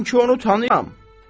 Mən ki onu tanıyıram.